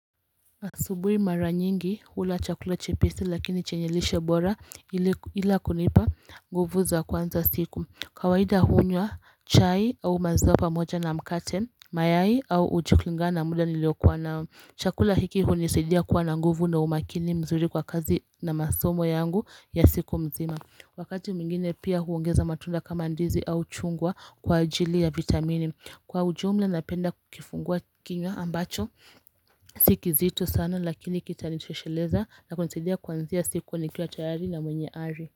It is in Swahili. Asubui mara nyingi hula chakula chepesi lakini chenye lishe bora ila kunipa nguvu za kwanza siku kawaida hunywa chai au maziwa moja na mkate mayai au uji kulingana na muda nilio kuwa nao chakula hiki hunisidia kuwa na nguvu na umakini mzuri kwa kazi na masomo yangu ya siku mzima Wakati mwingine pia huongeza matunda kama ndizi au chungwa kwa ajili ya vitamini Kwa ujumla napenda kukifungua kinywa ambacho Si kizito sana lakini kita nitosheleza Nakunisidia kwanzia siku nikiwa tayari na mwenye ari.